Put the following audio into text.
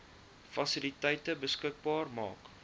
fasiliteite beskikbaar maak